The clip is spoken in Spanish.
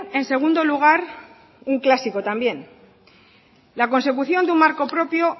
en segundo lugar un clásico también la consecución de un marco propio